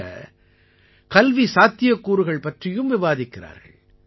தவிர கல்வி சாத்தியக்கூறுகள் பற்றியும் விவாதிக்கிறார்கள்